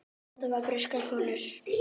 Þetta vita breskar konur.